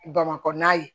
Bamakɔ na ye